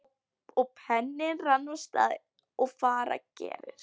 Og penninn rann af stað eins og fara gerir.